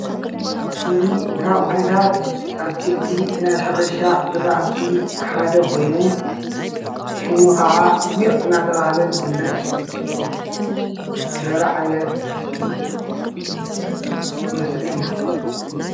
እዚ ካብ ዓይነታት አትክልቲ ናይ ሕርሻ ዝራእቲ ሓደ ኮይኑ፤ ሹሙ ከዓ ጉዕ እናተብሃለ ዝፍለጥ ዘርኢ ዓይነት ምስሊ እዩ፡፡